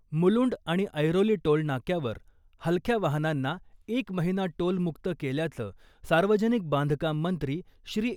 मुलुंड आणि ऐरोली टोलनाक्यावर हलक्या वाहनांना एक महिना टोल मुक्त केल्याचं सार्वजनिक बांधकाम मंत्री श्री .